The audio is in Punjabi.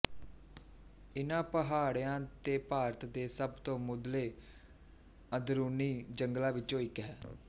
ਇਨ੍ਹਾਂ ਪਹਾੜੀਆਂ ਤੇ ਭਾਰਤ ਦੇ ਸਭ ਤੋਂ ਮੁੱਢਲੇ ਅੰਦਰੂਨੀ ਜੰਗਲਾਂ ਵਿੱਚੋਂ ਇੱਕ ਹੈ